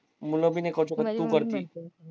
मुलं भी नाही करू शकत तू करती